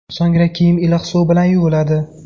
So‘ngra kiyim iliq suv bilan yuviladi.